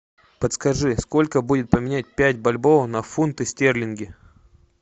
подскажи сколько будет поменять пять бальбоа на фунты стерлинги